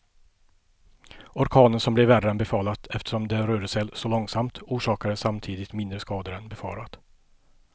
Orkanen som blev värre än befarat eftersom den rörde sig så långsamt, orsakade samtidigt mindre skador än befarat.